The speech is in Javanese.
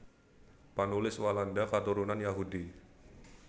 Panulis Walanda katurunan Yahudi